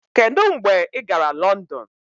Kedu mgbe ị gara London?